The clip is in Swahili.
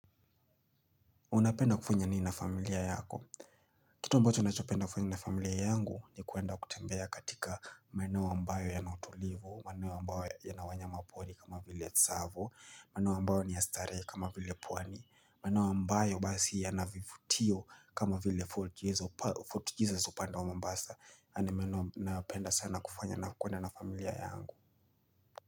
Unapenda kufanya nini na familia yako? Kitu ambacho nachopenda kufanya na familia yangu ni kuenda kutembea katika maneneo ambayo yana utulivu, maeneo ambayo yana wanyamapori kama vile tsavo, maeneo ambayo ni ya starehe kama vile pwani, maeneo ambayo basi yana vivutio kama vile fort jesus palv Fort Jesus upande wa mombasa, na ni maeneo nayopenda sana kufanya na kuenda na familia yangu.